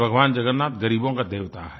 भगवान जगन्नाथ ग़रीबों के देवता हैं